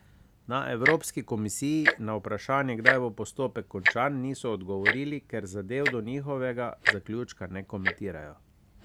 Na evropski komisiji na vprašanje, kdaj bo postopek končan, niso odgovorili, ker zadev do njihovega zaključka ne komentirajo.